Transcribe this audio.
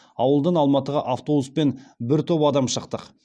ауылдан алматыға автобуспен бір топ адам шықтық